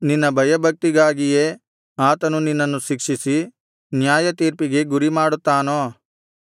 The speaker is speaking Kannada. ನಿನ್ನ ಭಯಭಕ್ತಿಗಾಗಿಯೇ ಆತನು ನಿನ್ನನ್ನು ಶಿಕ್ಷಿಸಿ ನ್ಯಾಯತೀರ್ಪಿಗೆ ಗುರಿಮಾಡುತ್ತಾನೋ